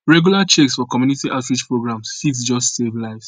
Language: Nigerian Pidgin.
regular checks for community outreach programs fit just save lives